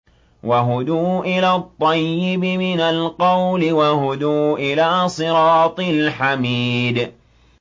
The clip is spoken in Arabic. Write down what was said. وَهُدُوا إِلَى الطَّيِّبِ مِنَ الْقَوْلِ وَهُدُوا إِلَىٰ صِرَاطِ الْحَمِيدِ